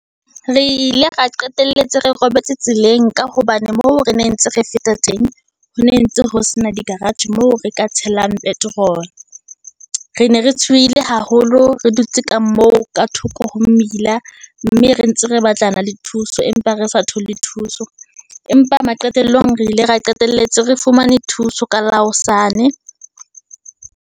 Re ile ra qetelletse re robetse tseleng, ka hobane moo re ne ntse re feta teng, ho ntse ho sena di-garage moo re ka tshelang petrol-o, re ne re tshohile haholo re di tse kang moo ka thoko ho mmila, mme re ntse re batlana le thuso, empa re sa thole thuso. Empa maqetellong re ile ra qetelletse re fumane thuso, ka la hosane.